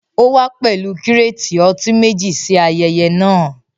Ó wá pẹ̀lú kírátì ọtí meji ṣí ayẹyẹ náà